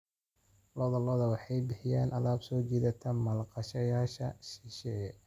Lo'da lo'da waxay bixiyaan alaab soo jiidata maalgashadayaasha shisheeye.